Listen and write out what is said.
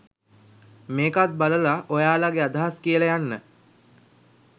මේකත් බලල ඔයාලගේ අදහස් කියල යන්න